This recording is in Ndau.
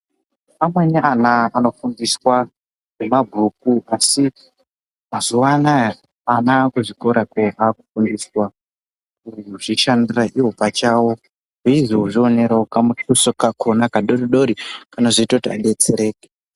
Amweni ana anofundiswa ngemabhuku asi mazuwa anaya ana kuzvikora kuya akufundiswa kuzvishandira iwo pachawo ezvozvionerawo kamutuso kawo kadodori kanozoite kuti vadetsereke.